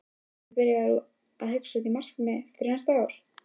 Ertu byrjaður að hugsa út í markmið fyrir næsta ár?